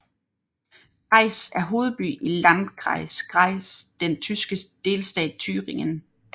Greiz er hovedby i Landkreis Greiz den tyske delstat Thüringen